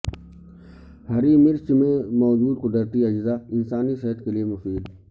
ہری مرچ میں موجودقدرتی اجزاء انسانی صحت کیلئے مفید